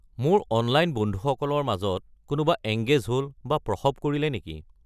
মোৰ অনলাইন বন্ধুসকলৰ মাজত কোনোবা এংগেজ হ'ল বা প্ৰসৱ কৰিলে নেকি